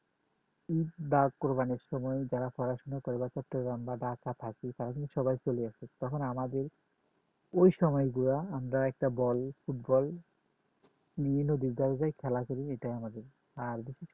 বা কুরবানীর সময় যারা পড়াশোনা করে একটা থাকি সবাই চলে আসে তখন আমাদের ওই সময় গুলা আমরা একটা ball football বিভিন্ন খেলা করি এটা আমাদের